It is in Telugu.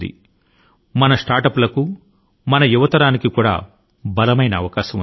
ఇక్కడ స్టార్ట్ అప్ లకు యువతరాని కి విభిన్నమైనటువంటి బలమైనటువంటి అవకాశాలు ఉన్నాయి